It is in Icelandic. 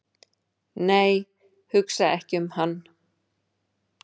"""nei, hugsa ekki um hann!"""